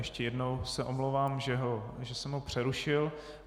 Ještě jednou se omlouvám, že jsem ho přerušil.